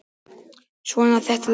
Svona, þetta lagast